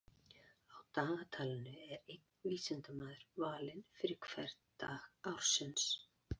Á dagatalinu er einn vísindamaður valinn fyrir hvern dag ársins.